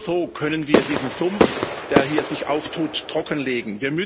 Nur so können wir diesen Sumpf, der sich hier auftut, trockenlegen.